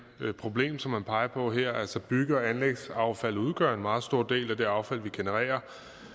problem som man peger på her altså at bygge og anlægsaffaldet udgør en meget stor del af det affald vi genererer